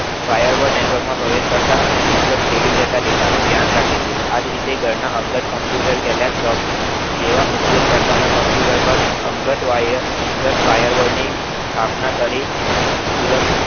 વાયા માં network પ્રવેશ કરતા અને network છેડી જતા data નું ધ્યાન રાખે છે આજ રીતે ઘર ના અંગત computer leptop જેવા ઉપયોગકર્તા ના અંગત firewall ની સ્થાપના કરી